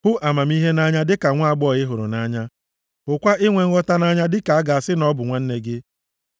Hụ amamihe nʼanya dịka nwaagbọghọ ị hụrụ nʼanya; hụkwa inwe nghọta nʼanya dịka a ga-asị na ọ bụ nwanne gị.